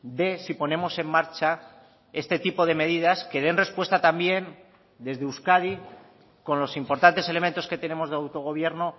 de si ponemos en marcha este tipo de medidas que den respuesta también desde euskadi con los importantes elementos que tenemos de autogobierno